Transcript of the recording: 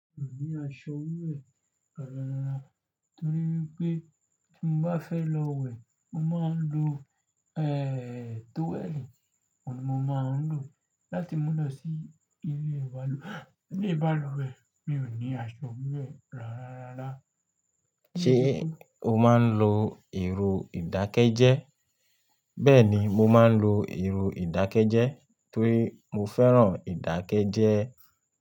Mi ò ní aṣọ wẹ́ẹ̀ rárá rara, torí pé tí mo bá fẹ́ lọ wẹ̀, mo máa ń lo, ẹ́, towel. Mo máa ń lò ó láti mú lọ sí ilé balùwẹ̀. Mi ò ní aṣọ wẹ́ẹ̀ rárá. Ṣé o máa ń lo ẹ̀rọ ìdákẹ́jẹ́? Bẹ́ẹ̀ni, mo máa ń lo ẹ̀rọ ìdákẹ́jẹ́ torí mo fẹ́ràn ìdákẹ́jẹ́